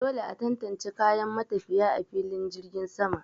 Dole a tantance kayan matafiya a filin jirgin sama.